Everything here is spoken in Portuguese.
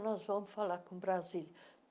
Nós vamos falar com Brasília.